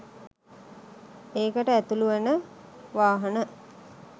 ඒකට ඇතුළු වන වාහන.